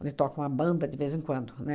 Onde toca uma banda de vez em quando, né?